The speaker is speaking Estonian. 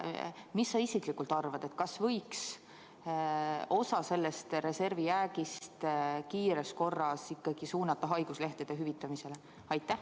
Mis sa isiklikult arvad, kas võiks osa sellest reservijäägist kiires korras ikkagi suunata haiguslehtede hüvitamiseks?